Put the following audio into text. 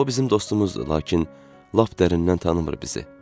O bizim dostumuzdur, lakin lap dərindən tanımır bizi.